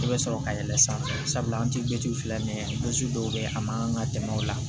I bɛ sɔrɔ ka yɛlɛ sanfɛ an tɛ filanan ye dɔw bɛ yen a man kan ka tɛmɛ o la